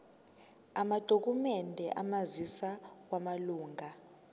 amadokhumende omazisi wamalunga